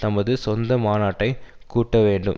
தமது சொந்த மாநாட்டை கூட்ட வேண்டும்